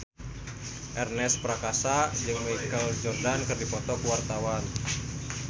Ernest Prakasa jeung Michael Jordan keur dipoto ku wartawan